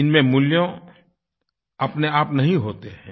इनमें मूल्य अपने आप नहीं होते हैं